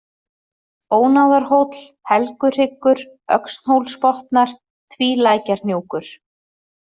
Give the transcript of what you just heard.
Ónáðarhóll, Helguhryggur, Öxnhólsbotnar, Tvílækjarhnjúkur